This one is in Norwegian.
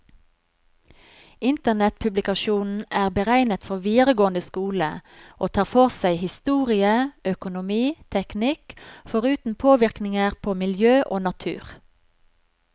Internettpublikasjonen er beregnet for videregående skole, og tar for seg historie, økonomi, teknikk, foruten påvirkninger på miljø og natur.